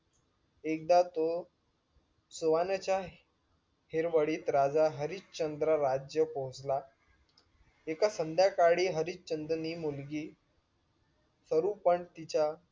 एकदा तो सुहाण्याच्या हिरवडीत राजा हरिशचंद्र राज्य पोहचला एका संध्याकाळी हरिशचंद्नि मुलगी सरूपण तिच्या